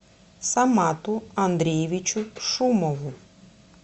самату андреевичу шумову